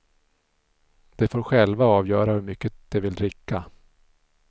De får själva avgöra hur mycket de vill dricka.